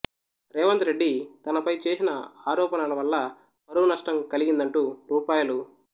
రేవంత్ రెడ్డి తనపై చేసిన ఆరోపణల వల్ల పరువు నష్టం కలిగిందంటూ రూ